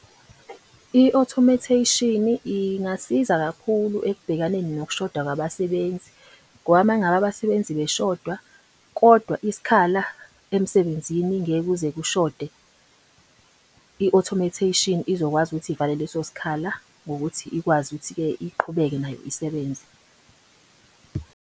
I-automation ingasiza kakhulu ekubhekaneni nokushoda kwabasebenzi. Ngoba uma ngabe abasebenzi beshoda kodwa isikhala emsebenzini ngeke kuze kushode. I-automation izokwazi ukuthi ivale leso sikhala ngokuthi ikwazi ukuthi-ke iqhubeke nayo isebenze.